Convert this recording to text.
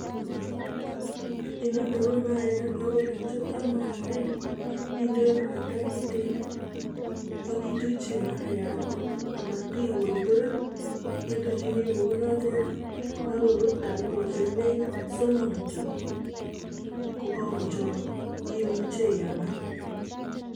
Inoni ko mayait ako ole kichoptoi mayaindani indei mwaita kitiin aki tuchi mayaat ametikorkoren, ituchini kounotet ako rur dakikoshek nekit somok kityo kokakochopok imuche iaam any.